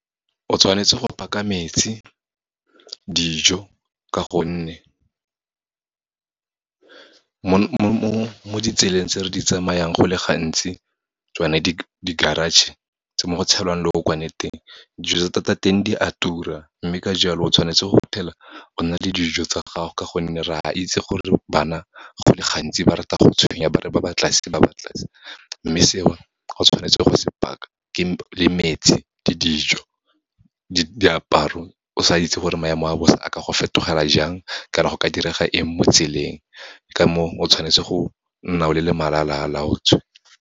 O tshwanetse go paka metsi, dijo ka gonne, mo ditseleng tse re di tsamayang, go le gantsi, tsone di-garage, tse mo go tshelwang leokwane teng, dijo tsa teng di a tura. Mme ka jalo, o tshwanetse go phela o na le dijo tsa gago, ka gonne re a itse gore bana go le gantsi ba rata go tshwenya ba re ba batla se, ba batla se. Mme seo o tshwanetse go se paka le metsi, ke dijo, diaparo o sa itse gore maemo a bosa a ka go fetogela jang, kana go ka direga eng mo tseleng, ka moo o tshwanetse go nna o le malalalaotswe.